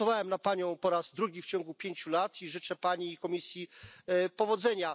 Głosowałem na Panią po raz drugi w ciągu pięciu lat i życzę Pani i Komisji powodzenia.